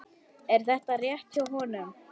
Er þetta rétt hjá honum?